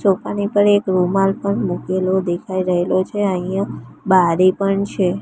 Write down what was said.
પર એક રૂમાલ પણ મુકેલો દેખાય રહેલો છે અહિયા બારી પણ છે.